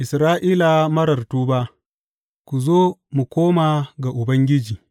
Isra’ila marar tuba Ku zo, mu koma ga Ubangiji.